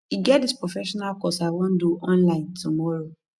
e get dis professional course i wan do online tomorrow